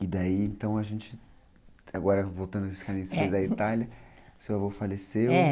E daí, então, a gente, agora voltando a esses caminhos da Itália, seu avô faleceu, é.